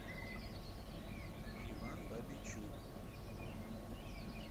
иван бабичук